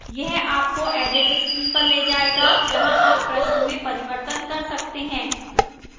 यह आपको edit screen पर ले जाएगा जहाँ आप प्रश्न में परिवर्तन कर सकते हैं